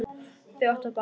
Þau áttu bágt!